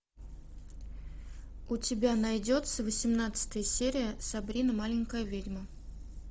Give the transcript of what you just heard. у тебя найдется восемнадцатая серия сабрина маленькая ведьма